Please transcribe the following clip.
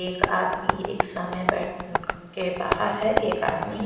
एक आदमी ई रिक्शा में बैठ उम के बाहर है एक आदमी--